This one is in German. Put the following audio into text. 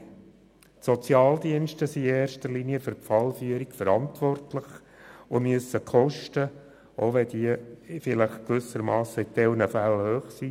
Die Sozialdienste sind für die Fallführung verantwortlich und müssen die Kosten selber verantworten, auch wenn diese vielleicht in einzelnen Fällen hoch sind.